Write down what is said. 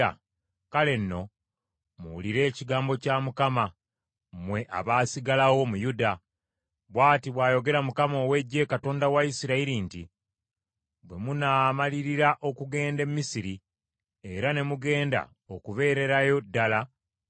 kale nno muwulire ekigambo kya Mukama , mmwe abaasigalawo mu Yuda. Bw’ati bw’ayogera Mukama ow’Eggye, Katonda wa Isirayiri nti, ‘Bwe munaamalirira okugenda e Misiri era ne mugenda okubeererayo ddala,